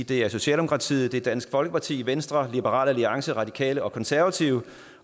det er socialdemokratiet det er dansk folkeparti venstre liberal alliance radikale og konservative